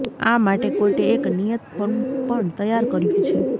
આ માટે કોર્ટે એક નિયત ફોર્મ પણ તૈયાર કર્યુ છે